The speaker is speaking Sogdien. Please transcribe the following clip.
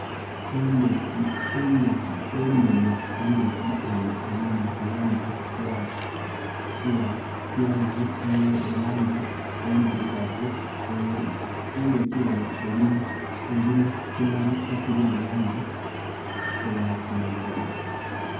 Endhoki enhenhe, endhoki enho erimu langi eya kyenvu erangi endirugavu, endhoki enho eri mu kimuli ekirimu langi eyakyenvu.